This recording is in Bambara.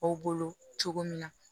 Aw bolo cogo min na